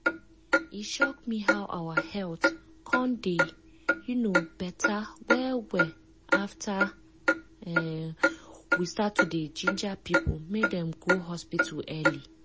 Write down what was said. e shock me how our health come dey um beta well well after um we start to dey ginger people make dem go hospital early.